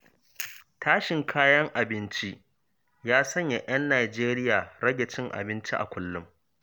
Tashin kayan abinci ya sanya 'yan Najeriya rage cin abinci a kullum.